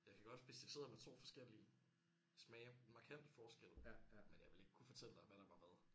Jeg kan godt hvis jeg sidder med 2 forskellige smage markant forskel men jeg ville ikke kunne fortælle dig hvad der var hvad